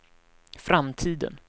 framtiden